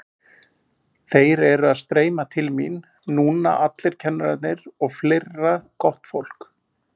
Þeir eru að streyma til mín núna allir kennararnir og fleira gott fólk.